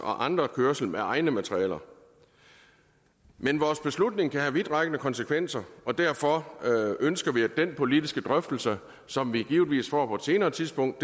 og andres kørsel med egne materialer men vores beslutning kan have vidtrækkende konsekvenser og derfor ønsker vi at den politiske drøftelse som vi givetvis får på et senere tidspunkt